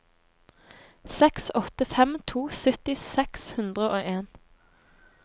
seks åtte fem to sytti seks hundre og en